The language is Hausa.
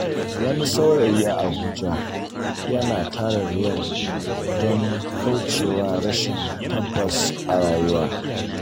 Wani saurayi a Abuja yana tara Riyal don kauce wa rashin tabbas a rayuwa.